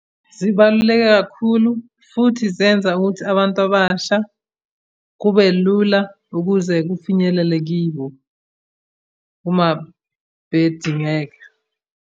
Zibaluleke kakhulu, futhi zenza ukuthi abantu abasha kube lula ukuze kufinyelele kibo, uma bedingeka.